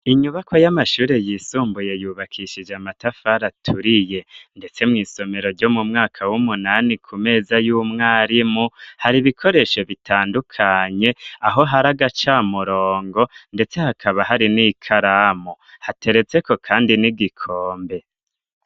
Inyubakwa y'amashuri yisumbuye yubakishije amatafari aturiye. Ndetse mw'isomero ryo mu mwaka w'umunani ku meza y'umwarimu, hari ibikoresho bitandukanye, aho hari agacamurongo, ndetse hakaba hari n'ikaramu, hateretseko kandi n'igikombe.